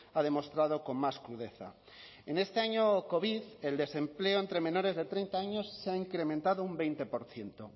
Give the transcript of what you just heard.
ha demostrado con más crudeza en este año covid el desempleo entre menores de treinta años se ha incrementado un veinte por ciento